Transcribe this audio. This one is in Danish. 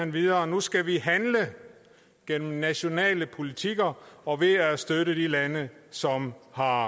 videre nu skal vi handle gennem nationale politikker og ved at støtte de lande som har